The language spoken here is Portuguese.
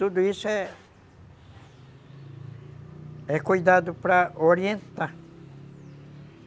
Tudo isso é cuidado, é cuidado para orientar.